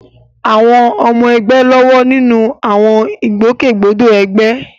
Àwọn ọmọ ẹgbẹ́ ń lọ́wọ́ nínú àwọn ìgbòkègbodò ẹgbẹ́.